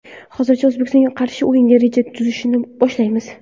Hozircha O‘zbekistonga qarshi o‘yinga reja tuzishni boshlaymiz.